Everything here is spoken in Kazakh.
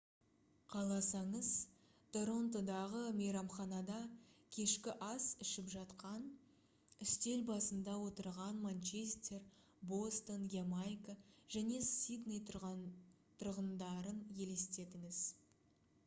қаласаңыз торонтодағы мейрамханада кешкі ас ішіп жатқан үстел басында отырған манчестер бостон ямайка және сидней тұрғындарын елестетіңіз